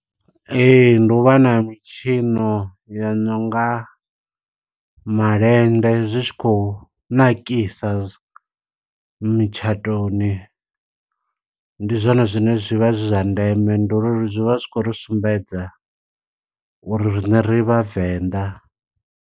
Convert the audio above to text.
Ee, ndi u vha na mitshino ya nonga malende, zwi tshi khou nakisa mitshatoni. Ndi zwone zwine zwivha zwi zwa ndeme, ndi uri zwi vha zwi khou ri sumbedza uri riṋe ri vhavenḓa.